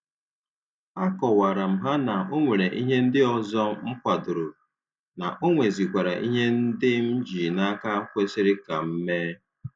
A kọwara m ha na ọ nwere ihe ndị ọzọ m kwadoro, na onwezikwara ihe ndị m ji n'aka kwesịrị ka m mee